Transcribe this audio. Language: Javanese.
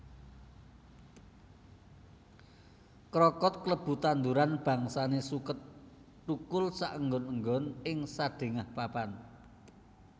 Krokot klebu tanduran bangsane suket thukul saengon enggon ing sadhengah papan